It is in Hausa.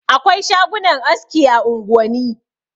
Akwai shagunan aski a unguwani.